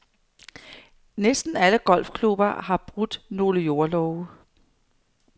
Næsten alle golfklubber har brudt nogle jordlove.